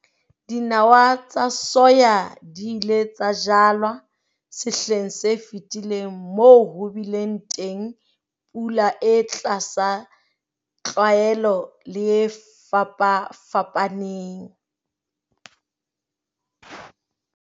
Dinawa tsa soya di ile tsa jalwa sehleng se fetileng moo ho bileng teng pula e tlasa tlwaelo le e fapafapaneng.